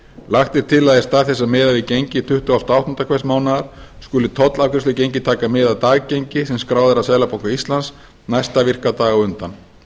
lagt er til að í stað þess að miða við gengi tuttugasta og áttunda hvers mánaðar skuli tollafgreiðslugengi taka mið af daggengi sem skráð er af seðlabanka íslands næsta virkan dag á undan